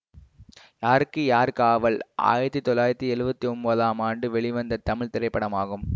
யாருக்கு யார் காவல் ஆயிரத்தி தொள்ளாயிரத்தி எழுவத்தி ஒம்போதாம் ஆண்டு வெளிவந்த தமிழ் திரைப்படமாகும்